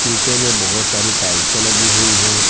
नीचे में बहुत सारी टाइल्से लगी हुई है।